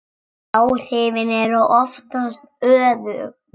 Áhrifin eru oftast öfug.